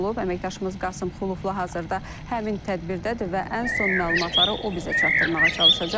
Əməkdaşımız Qasım Xuloflu hazırda həmin tədbirdədir və ən son məlumatları o bizə çatdırmağa çalışacaq.